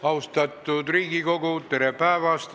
Austatud Riigikogu, tere päevast!